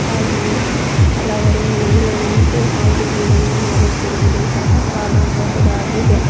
ಹಾಗೆಯೆ ಹಲವರು ಮೇಲೆ ನಿಂತು ಆ ಹುಡುಗಿಯರನ್ನು ನೋಡುತ್ತಿರುವುದು ಸಹ ಕಾಣಬಹುದಾಗಿದೆ.